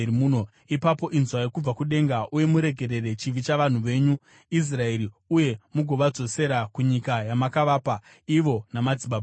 ipapo inzwai kubva kudenga uye muregerere chivi chavanhu venyu Israeri uye mugovadzosera kunyika yamakavapa ivo namadzibaba avo.